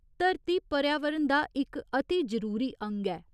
'धरती' पर्यावरण दा इक अति जरूरी अंग ऐ।